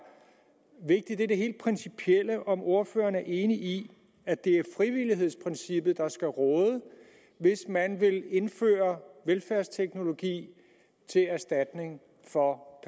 vigtigt er det helt principielle nemlig om ordføreren er enig i at det er frivillighedsprincippet der skal råde hvis man vil indføre velfærdsteknologi til erstatning for